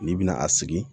N'i bɛna a sigi